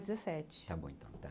dezessete Tá bom então, tá.